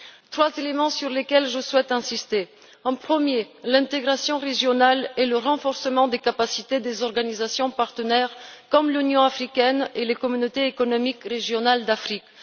Trois éléments sur lesquels je souhaite insister. Premièrement, l'intégration régionale et le renforcement des capacités des organisations partenaires comme l'Union africaine et les communautés économiques régionales d'Afrique.